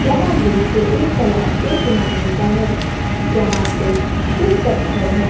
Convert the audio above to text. यह दृश्य एक तालाब के किनारे का है जहां पे कुछ पत्थर है।